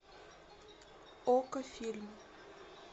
окко фильм